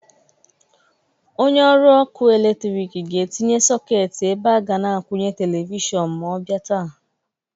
Onye ọrụ ọkụ eletrik ga-etinye sọketị ebe a ga na-akwụnye televishọn ma ọ bịa taa.